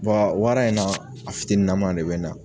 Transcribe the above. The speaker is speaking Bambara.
wara in na a fitininama de bɛ na.